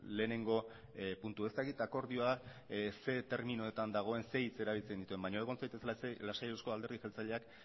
lehenengo puntu ez dakit akordioa zein terminoetan dagoen zein hitz erabiltzen dituen baina egon zaitez lasai euzko alderdi jeltzaleak